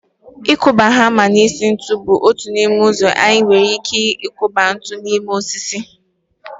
Ịkụba hama n'isi ntu bụ otu n'ime ụzọ anyị nwere ike isi kwọba ntu n'ime osisi